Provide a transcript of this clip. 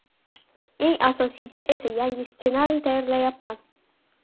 Eng asosiysi esa yangi ssenariy tayyorlayapman.